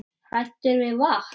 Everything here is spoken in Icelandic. Hræddir við vatn!